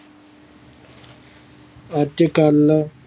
ਅੱਜ ਕੱਲ